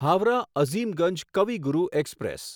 Howrah Azimganj Kavi Guru express